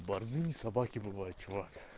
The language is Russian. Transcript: борзыми собаки бывают чувак